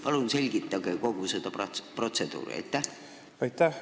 Palun selgitage kogu seda protseduuri!